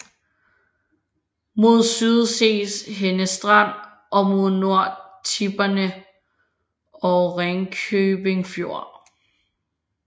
Mod syd ses Henne Strand og mod nord Tipperne og Ringkøbing Fjord